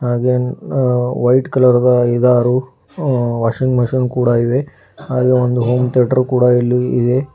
ಹಾಗೆ uh white colour ದ ಐದಾರು ಅಹ್ ವಾಷಿಂಗ್ ಮಷೀನ್ ಕೂಡ ಇವೆ ಹಾಗೆ ಒಂದು ಹೋಂ ಥಿಯೇಟರ್ ಕೂಡ ಇಲ್ಲಿ ಇದೆ.